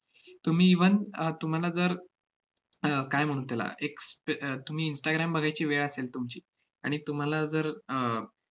तुम्ही even अह तुम्हाला जर अह काय म्हणू त्याला, एक स्त~ अह तुम्ही instagram बघायची वेळ असेल तुमची आणि तुम्हाला जर आह